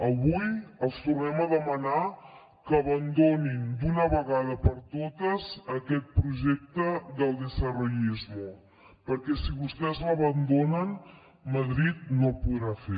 avui els tornem a demanar que abandonin d’una vegada per totes aquest projecte del desarrollismo perquè si vostès l’abandonen madrid no el podrà fer